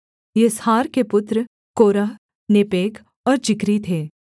Izhar के पुत्र Korah Nepheg और जिक्री थे